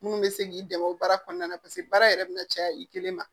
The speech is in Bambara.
Minnu bɛ se k'i dɛmɛ o baara kɔnɔna na paseke baara yɛrɛ bɛna caya i kelen ma